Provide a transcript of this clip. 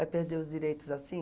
Vai perder os direitos assim?